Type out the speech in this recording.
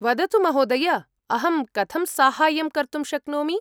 वदतु महोदय, अहं कथं साहाय्यं कर्तुं शक्नोमि?